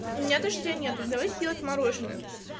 у меня дождя нету давайте делать мороженое